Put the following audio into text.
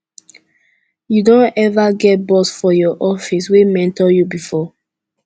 you don eva get boss for your office wey mentor you before